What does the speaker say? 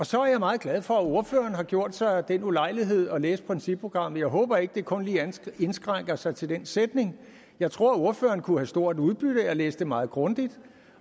så er jeg meget glad for at ordføreren har gjort sig den ulejlighed at læse principprogrammet jeg håber ikke at det kun lige indskrænker sig til den sætning jeg tror at ordføreren kunne have stort udbytte af at læse det meget grundigt